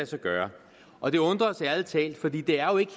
sig gøre og det undrer os ærlig talt for det er jo ikke